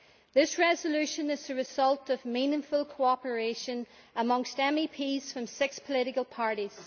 This resolution is the result of meaningful cooperation amongst MEPs from six political parties.